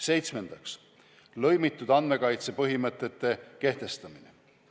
Seitsmendaks, lõimitud andmekaitse põhimõtete kehtestamine.